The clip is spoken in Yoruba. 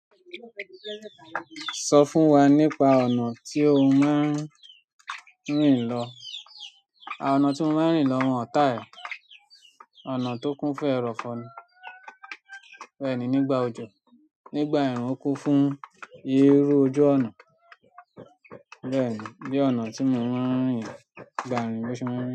Sọ fún wa nípa ọ̀nà tí o máa ń rìn lọ. À ọ̀nà tí mo máa ń rìn lọ wọ̀n tile ẹ. Ọ̀nà tó kún fún ẹ̀rọ̀fọ́ ni. Bẹ́ẹ̀ni nígbà òjò, nígbà ẹ̀rùn ó kún fún yíró ojú ọnà. Bẹ́ẹ̀ni, bí ọ̀nà tí mo máa ń rìn nígbà ìrìn tó ṣe máa ń rìn.